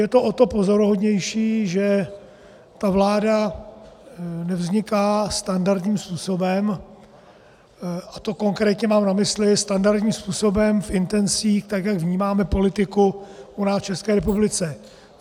Je to o to pozoruhodnější, že ta vláda nevzniká standardním způsobem, a to konkrétně mám na mysli standardním způsobem v intencích tak, jak vnímáme politiku u nás v České republice.